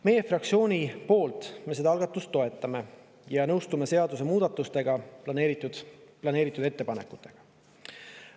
Meie fraktsioon toetab seda algatust ja me nõustume seaduse muutmisel planeeritud ettepanekutega.